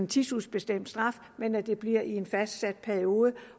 tidsubestemt straf men at det bliver i en fastsat periode